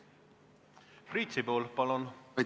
Priit Sibul, palun!